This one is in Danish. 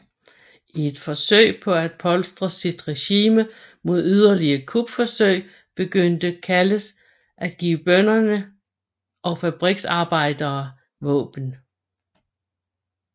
I et forsøg på at polstre sit regime mod yderliger kupforsøg begyndte Calles at give bønder og fabriksarbejdere våben